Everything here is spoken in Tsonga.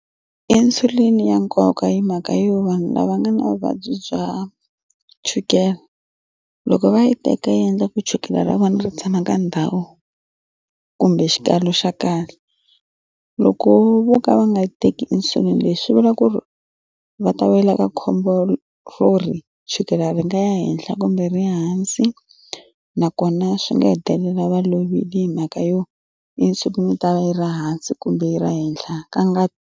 Insulin ya nkoka hi mhaka yo vanhu lava nga na vuvabyi bya chukele loko va yi teka yi endla ku chukela ra vona ri tshama ka ndhawu kumbe xikalo xa kahle loko vo ka va nga teki insulin leswi vula ku ri va ta wela ka khombo ro ri chukele ri nga ya henhla kumbe ri hansi nakona swi nga hetelela va lovile hi mhaka yo insulin yo tala yi ri hansi kumbe yi ri henhla ka nga.